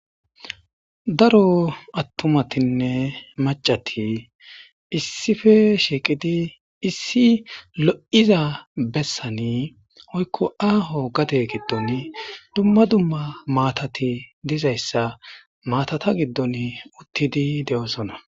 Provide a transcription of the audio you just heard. Daro attumatinne macati issippe shiiqidi issi lo'iza bessan woykko aaho gade giddon dumma dumma maatati dizayssa maatata giddon uttidi de'oosona